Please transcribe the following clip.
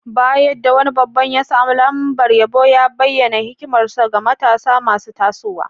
Bayan da wani babba ya samu lambar yabo, ya bayyana hikimarsa ga matasa masu tasowa.